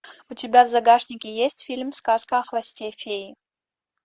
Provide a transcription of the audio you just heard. у тебя в загашнике есть фильм сказка о хвосте феи